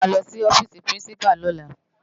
Á má lòsi òfisi pirinsipá lòlá